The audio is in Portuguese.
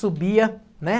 subia, né?